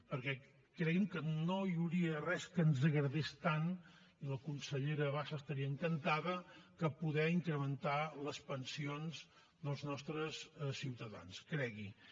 perquè cregui’m que no hi hauria res que ens agradés tant i la consellera bassa estaria encantada que poder incrementar les pensions dels nostres ciutadans cregui ho